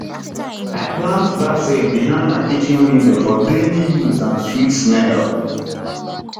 i plant basil behind my kitchen window for daily use and sweet smell